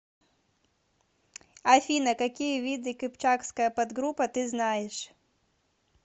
афина какие виды кыпчакская подгруппа ты знаешь